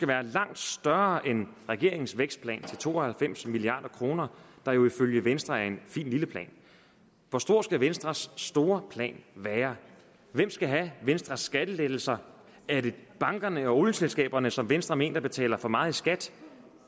være langt større end regeringens vækstplan til to og halvfems milliard kr der jo ifølge venstre er en fin lille plan hvor stor skal venstres store plan være hvem skal have venstres skattelettelser er det bankerne og olieselskaberne som venstre mener betaler for meget i skat